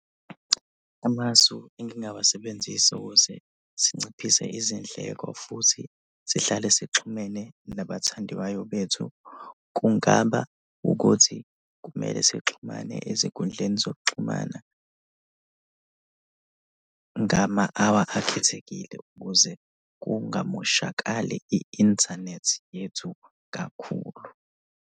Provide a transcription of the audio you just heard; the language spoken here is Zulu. Amasu engingawasebenzisa ukuze sinciphise izindleko futhi sihlale sixhumene nabathandiwayo bethu kungaba ukuthi kumele sixhumane ezinkundleni zokuxhumana ngama-hour akhethekile ukuze kungamoshakali i-inthanethi yethu kakhulu.